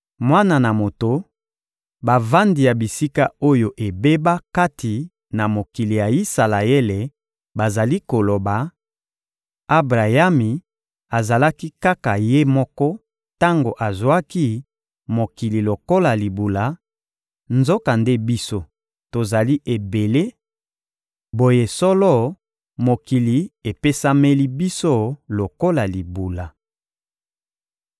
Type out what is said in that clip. «Mwana na moto, bavandi ya bisika oyo ebeba kati na mokili ya Isalaele bazali koloba: ‹Abrayami azalaki kaka ye moko tango azwaki mokili lokola libula; nzokande biso, tozali ebele; boye, solo, mokili epesameli biso lokola libula!›